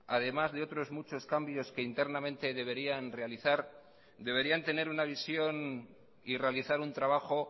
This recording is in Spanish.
además de otros muchos cambios que internamente deberían realizar deberían tener una visión y realizar un trabajo